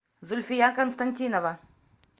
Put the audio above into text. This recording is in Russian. зульфия константинова